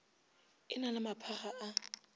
e na le maphakga a